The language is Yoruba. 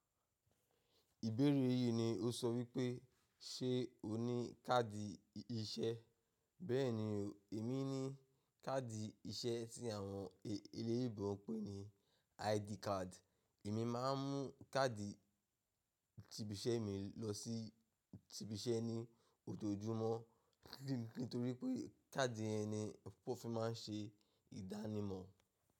Ìbéèrè yí ni o sọ wípé ṣe o ní káàdì iṣẹ́. Bẹ́ẹ̀ni o, èmi ní káàdì iṣẹ́ tí àwọn eléèyinbo ń pè ní ID card. Èmi máa ń mú káàdì ìtìbíṣẹ́ mi lọ sí ìtìbíṣẹ́ ní ojojúmọ́ nítorí pé káàdì ye ni wọ́n fi máa ń ṣe ìdánimọ̀.